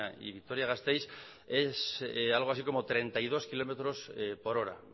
y vitoria gasteiz es algo así como treinta y dos kilómetros por hora